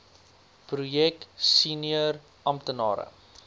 projek senior amptenare